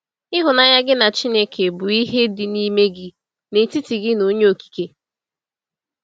Ịhụnanya gị na Chineke bụ ihe dị n’ime gị, n’etiti gị na Onye Okike.